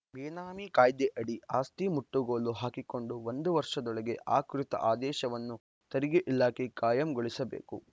ಬೇನಾಮಿ ಕಾಯ್ದೆಯಡಿ ಆಸ್ತಿ ಮುಟ್ಟುಗೋಲು ಹಾಕಿಕೊಂಡು ಒಂದು ವರ್ಷದೊಳಗೆ ಆ ಕುರಿತ ಆದೇಶವನ್ನು ತೆರಿಗೆ ಇಲಾಖೆ ಕಾಯಂಗೊಳಿಸಬೇಕು